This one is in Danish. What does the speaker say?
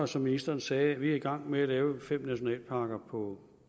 som ministeren sagde er vi i gang med at lave fem nationalparker på